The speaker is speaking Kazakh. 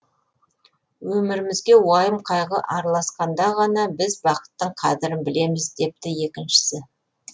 өмірімізге уайым қайғы араласқанда ғана біз бақыттың қадірін білеміз депті екіншісі